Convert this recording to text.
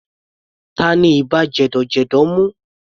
Tani ibà jẹ̀dọ̀jẹ̀dọ̀ mú?